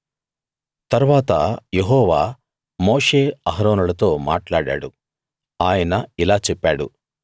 తరువాత యెహోవా మోషే అహరోనులతో మాట్లాడాడు ఆయన ఇలా చెప్పాడు